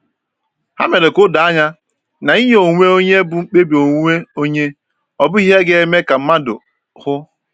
Ha mere ka o doo anya na inye onwe onye bụ mkpebi onwe onye, ọ bụghị ihe a ga-eme ka mmadụ hụ.